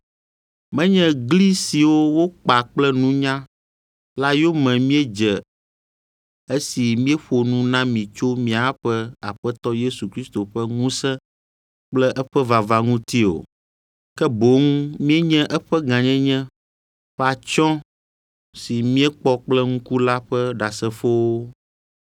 Menye gli siwo wokpa kple nunya la yome míedze esi míeƒo nu na mi tso míaƒe Aƒetɔ Yesu Kristo ƒe ŋusẽ kple eƒe vava ŋuti o, ke boŋ míenye eƒe gãnyenye ƒe atsyɔ̃ si míekpɔ kple ŋku la ƒe ɖasefowo.